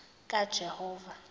kajehova